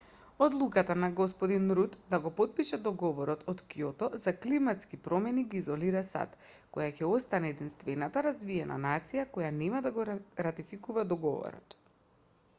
одлуката на г руд да го потпише договорот од кјото за климатски промени ги изолира сад која ќе остане единствената развиена нација која нема да го ратификува договорот